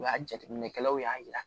O y'a jateminɛkɛlaw y'a jira